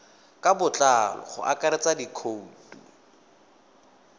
ka botlalo go akaretsa dikhoutu